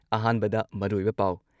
ꯑꯍꯥꯟꯕꯗ ꯃꯔꯨꯑꯣꯏꯕ ꯄꯥꯎ